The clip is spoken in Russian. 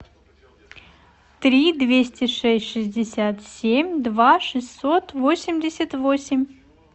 три двести шесть шестьдесят семь два шестьсот восемьдесят восемь